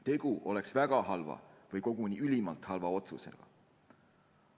Tegu oleks väga halva või koguni ülimalt halva otsusega.